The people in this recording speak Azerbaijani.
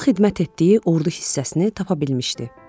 Dostu xidmət etdiyi ordu hissəsini tapa bilmişdi.